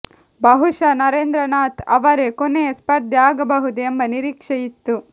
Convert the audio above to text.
ಬಹುಶಃ ನರೇಂದ್ರನಾಥ್ ಅವರೇ ಕೊನೆಯ ಸ್ಪರ್ಧಿ ಆಗಬಹುದು ಎಂಬ ನಿರೀಕ್ಷೆ ಇತ್ತು